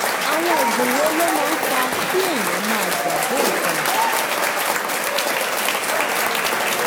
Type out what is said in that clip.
àwọn oògùn wo ló máa ń fa kí èèyàn máa gbàgbé nǹkan?